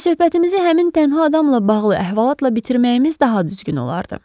Və söhbətimizi həmin tənha adamla bağlı əhvalatla bitirməyimiz daha düzgün olardı.